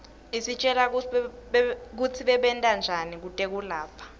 isitjela kutsi babentanjani kwetekulapha